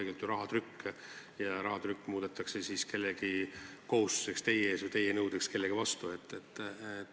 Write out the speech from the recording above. See on tegelikult ju rahatrükk, ja see rahatrükk muudetakse kellegi kohustuseks teie ees või teie nõudeks kellegi vastu.